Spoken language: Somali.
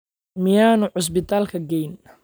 Miyaanu cusbitaalka geyn?